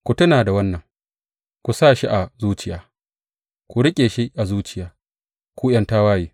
Ku tuna da wannan, ku sa shi a zuciya, ku riƙe shi a zuciya, ku ’yan tawaye.